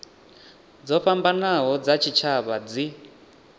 dzo fhambanaho dza tshitshavha dzi